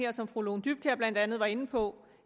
og som fru lone dybkjær blandt andet var inde på